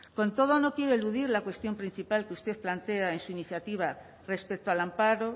con todo no quiero eludir la cuestión principal que usted plantea en su iniciativa respecto al amparo